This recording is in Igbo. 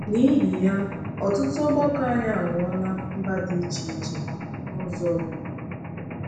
N’ihi ya, ọtụtụ ọgbakọ anyị aghọọla mba dị iche iche n’ụzọ ụfọdụ.